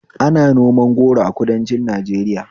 Ana noman goro a kudancin Najeriya